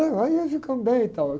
Aí ia ficando bem e tal.